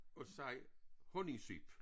At sige honningsyp